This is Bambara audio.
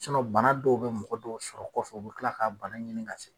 bana dɔw bɛ mɔgɔ dɔw sɔrɔ kɔfɛ u bɛ tila k'a bana ɲini ka sɛgɛn